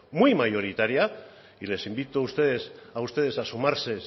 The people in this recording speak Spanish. muy mayoritaria y les invito a ustedes a sumarse